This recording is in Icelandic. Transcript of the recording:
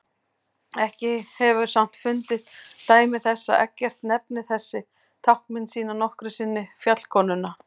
Ekki hefur samt fundist dæmi þess að Eggert nefni þessa táknmynd sína nokkru sinni fjallkonuna.